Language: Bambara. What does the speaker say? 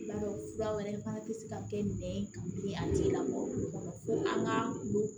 I b'a dɔn fura wɛrɛ fana tɛ se ka kɛ nɛn ka bilen a tigi lamɔgɔ kun kɔrɔ an k'a olu